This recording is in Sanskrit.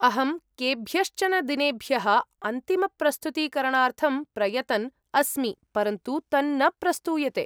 अहं केभ्यश्चन दिनेभ्यः अन्तिमप्रस्तुतीकरणार्थं प्रयतन्‌ अस्मि, परन्तु तन्न प्रस्तूयते।